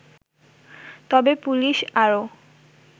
তবে পুলিশ আরও